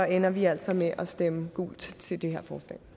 ender vi altså med at stemme gult til det her forslag